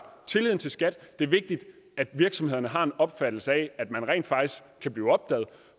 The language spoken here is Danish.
tilliden til skat det er vigtigt at virksomhederne har en opfattelse af at man rent faktisk kan blive opdaget